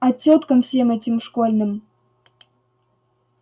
а тёткам всем этим школьным